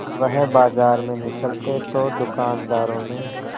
वह बाजार में निकलते तो दूकानदारों में